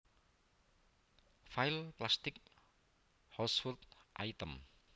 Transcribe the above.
File Plastic household items